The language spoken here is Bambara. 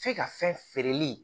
F'e ka fɛn feereli